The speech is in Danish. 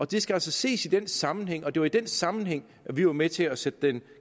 det skal altså ses i den sammenhæng og det var i den sammenhæng vi var med til at sætte den